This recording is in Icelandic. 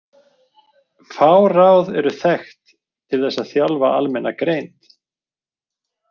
Fá ráð eru þekkt til þess að þjálfa almenna greind.